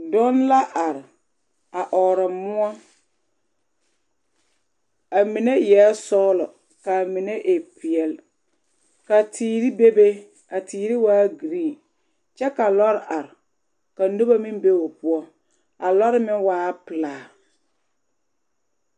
Donne la are a ɔɔrɔ moɔ, a mine eɛ sɔgelɔ k'a mine e peɛle ka teere bebe, a teere waa giriin kyɛ ka lɔre are ka noba meŋ be o poɔ, a lɔre meŋ waa pelaa.